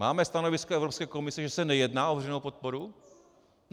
Máme stanovisko Evropské komise, že se nejedná o veřejnou podporu?